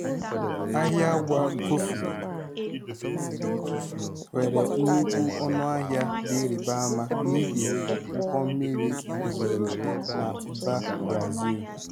Ahịa agwa kọfị nwere nnukwu ọnụahịa dị ịrịba ama n'ihi ụkọ mmiri ozuzo na mba Brazil